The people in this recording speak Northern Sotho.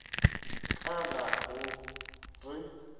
ka la go re o